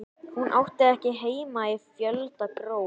Hún átti ekki heima í fjöldagröf.